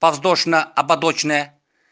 подвздошно ободочная